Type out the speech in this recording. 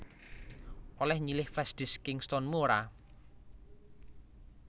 Oleh nyilih flashdisk Kingston mu ora